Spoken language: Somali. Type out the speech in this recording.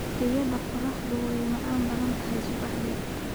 Riyada qorraxdu way macaan tahay subaxdii